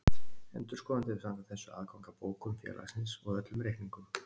Endurskoðandi hefur samkvæmt þessu aðgang að bókum félagsins og öllum reikningum.